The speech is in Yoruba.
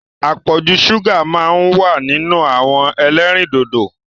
Apọ̀jù ṣúgà máa ń wà nínú àwọn ẹlẹ́rìndòdò.